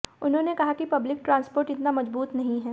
उन्होंने कहा कि पब्लिक ट्रांसपोर्ट इतना मजबूत नहीं है